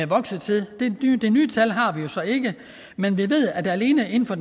vokset til de nye tal har vi jo så ikke men vi ved at der alene inden for